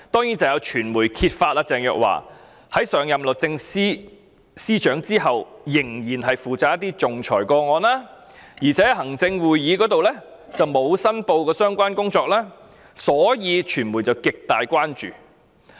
首先，有傳媒揭發鄭若驊在上任律政司司長後，仍然負責一些仲裁個案，但沒有向行政會議申報，便引起傳媒極大關注。